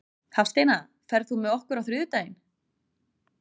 Hafsteina, ferð þú með okkur á þriðjudaginn?